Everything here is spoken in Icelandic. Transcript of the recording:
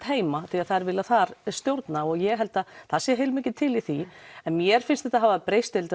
heima því þær vilja þar stjórna ég held að það sé heilmikið til í því en mér finnst þetta hafa breyst held